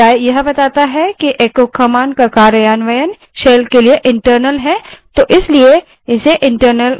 अतः file देने के बजाय यह बताता है कि echo command का कार्यान्वयन shell के लिए internal है इसलिए इसे internal command कहते हैं